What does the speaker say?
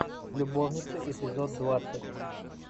любовницы эпизод двадцать